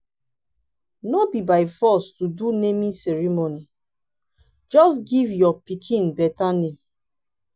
no be by force to do naming ceremony. just give your pikin better name.